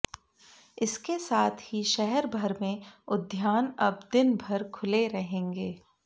इसके साथ ही शहर भर में उद्यान अब दिन भर खुले रहेंगे